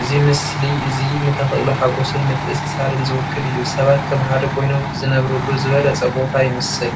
እዚ ምስሊ እዚ ንተኽእሎ ሓጐስን ምትእስሳርን ዝውክል እዩ። ሰባት ከም ሓደ ኮይኖም ዝነብሩሉ ዝበለጸ ቦታ ይመስል።